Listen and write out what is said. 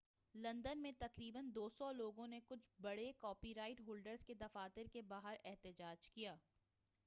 London میں تقریبا 200 لوگوں نے کچھ بڑے کاپی رائٹ ہولڈرز کے دفاتر کے باہر احتجاج کیا